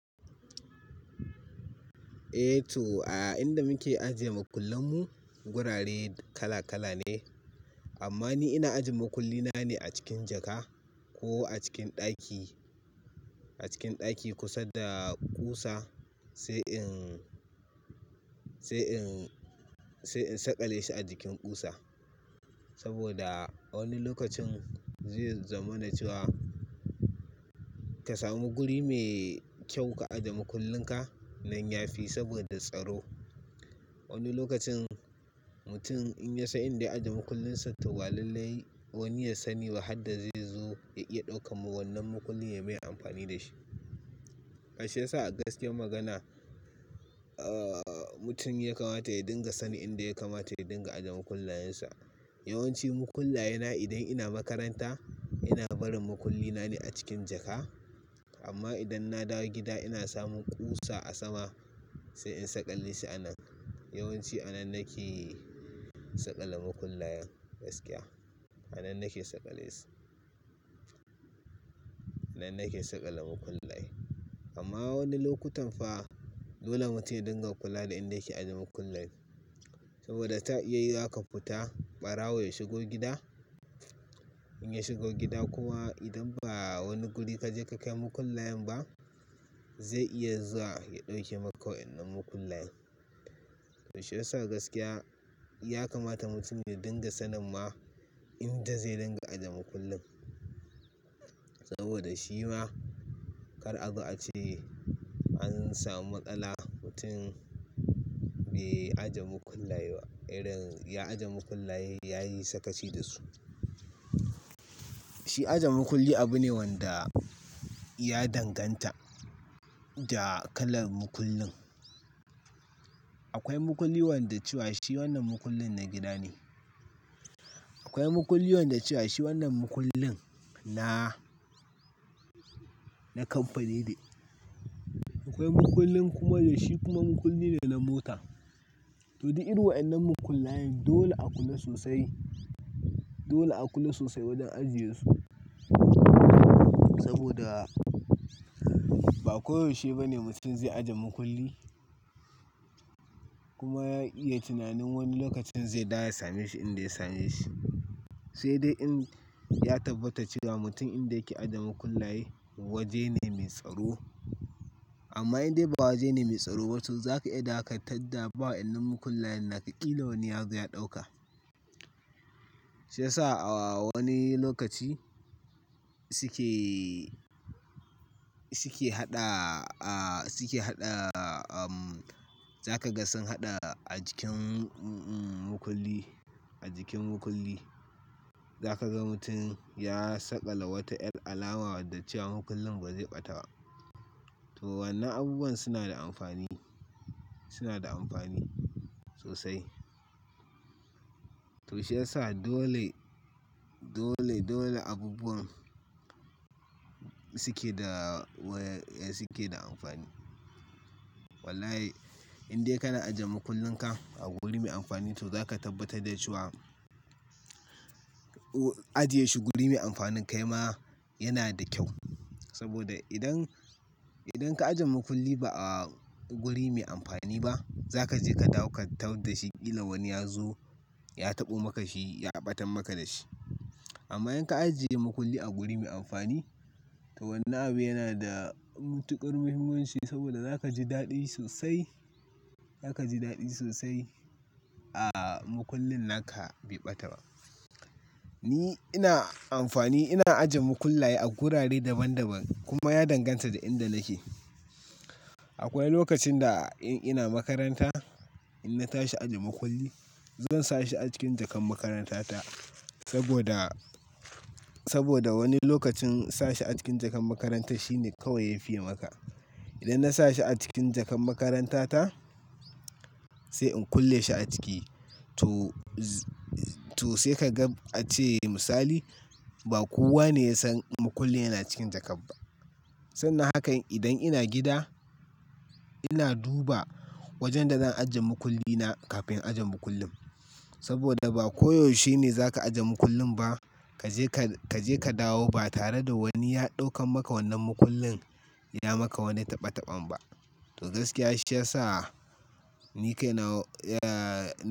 Eh to, a inda muke ajiye makullan mu gurare kala kala ne. Amma ni ina ajin makulli na ne a cikin jaka ko a cikin ɗaki, a cikin ɗaki kusa da ƙusa sai in, sai in, sai in sakale shi a jikin ƙusa. Saboda wani lokacin zai zamana cewa ka samu guri mai kyau ka ajiye mukullinka nan ya fi saboda tsaro. Wani lokacin mutum in ya san inda ya ajiye mukullinsa, to ba lalle wani ya sa ni ba, hada da zai zo ya iya ɗaukan wannan mukullin ya mai amfani da shi. To shiyasa a gaskiyan magana, ahh mutum ya kamata ya dinga sanin inda ya kamata ya dinga ajiye mukullayensa. Yawan ci mukullaye na idan ina makaranta ina barin makulli na ne a cikin jaka. Amma idan na dawo gida ina samun ƙusa a sama sai in sakale shi a nan. Yawan ci a nan nake sakala mukullayen gaskiya. A nan nake sakale su. A nan nake sakala mukullai. Amma wani lokutan fa dole mutum ya dinga kula da inda yake ajiye mukullai. Saboda ta iya yiwuwa ka fita ɓarawo ya shigo gida. In ya shigo gida kuma idan ba wani guri ka je ka kai mukullayen ba zai iya zuwa ya ɗauke maka waɗannan mukullayen. To shiyasa gaskiya ya kamata mutum ya dinga sanin ma inda zai dinga ajiye mukullin. Saboda shi ma kar a zo a ce an samu matsala mutum bai ajiye mukullaye ba, irin ya ajiye mukullaye yayi sakaci da su. Shi aje mukulli abu ne wanda ya danganta da kalan mukullin. Akwai mukulli wanda cewa shi wannan mukullin na gida ne. Akwai mukulli wanda cewa shi wannan mukullin na, na kamfani ne. Akwai mukullin kuma da shi kuma mukulli ne na mota. To duk irin waɗannan mukullaye dole a kula sosai. Dole a kula sosai wajen ajiye su. Saboda ba koyaushe ba ne mutum zai ajiye mukulli. Kuma ya iya tunanin wani lokacin zai dawo ya same shi in dai ya same shi. Sai dai in ya tabbata cewa mutum inda yake ajiye mukullaye waje ne mai tsaro. Amma idan ba waje ne mai tsaro ba to zaka iya dakata ba wannan mukullaye na ka ƙila wani ya zo ya ɗauka. Shiyasa a wani lokaci suke, suke haɗa, ah suke haɗa, um za ka ga sun haɗa a jikin, um mukulli. A jikin mukulli. Za ka ga mutum ya sakala wata yar alama wadda cewa mukullin ba zai ɓata ba. To wannan abubuwan suna da amfani, suna da amfani sosai. To shiyasa dole, dole, dole abubuwan suke da, suke da amfani. Wallahi in dai kana ajiye mukullin ka a guri mai amfani to zaka tabbatar da cewa ajiye shi guri mai amfanin kai ma yana da kyau. Saboda idan, idan ka ajiye mukulli ba a guri mai amfani ba za ka je ka dauka tau da shi ƙila wani ya zo ya taɓo maka shi ya ɓata maka da shi. Amma in ka ajiye mukulli a guri mai amfani to wannan abu yana da matuƙar muhimmanci saboda za ka ji daɗi sosai. Za ka ji daɗi sosai a mukullin naka bai ɓata ba. Ni ina amfani, ina ajiye mukullaye a gurare daban daban kuma ya danganta da inda nake. Akwai lokacin da in ina makaranta idan na tashi ajiye mukulli zan sa shi a cikin jakan makarantata. Saboda, saboda wani lokacin sa shi a cikin jakan makaranta shine kawai yafiye maka. Idan na sa shi a cikin jakan makarantata sai in kulle shi a ciki to, to sai ka ga a ce misali ba kowa ne ya san mukullin yana cikin jakan ba. Sannan hakan idan ina gida ina duba wajen da zan ajiye mukulli na kafin in ajiye mukullin. Saboda ba ko yaushe ne za ka ajiye mukullin ba ka je ka, ka je ka dawo ba tare da wani ya ɗaukan maka wannan mukullin ya maka wani taɓa taɓan ba. To gaskiya shiyasa ni kai na, ah.